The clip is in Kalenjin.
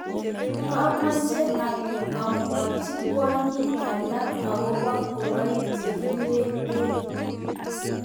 kameche anyo amwochi kwonyik alak akobo ngoroik chekipire bek.